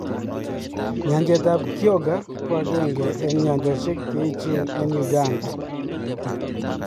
Nyanjet ab Kyoga ko akenge eng nyanjoshe che eechen eng Uganda.